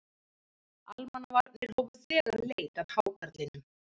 Almannavarnir hófu þegar leit að hákarlinum